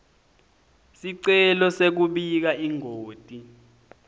sicelo sekubika ingoti